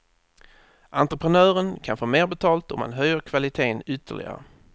Entreprenören kan få mer betalt om han höjer kvaliteten ytterligare.